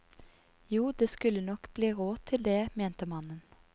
Jo, det skulle nok bli råd til det, mente mannen.